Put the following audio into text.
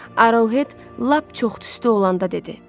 Arauhet lap çox tüstü olanda dedi: